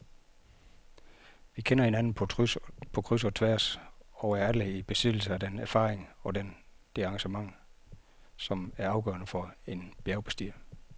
Vi kender hinanden på kryds og tværs og er alle i besiddelse af den erfaring og det engagement, som er afgørende for en bjergbestiger.